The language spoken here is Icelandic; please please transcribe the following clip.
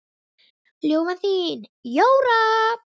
Ljúfan þín, Jóra.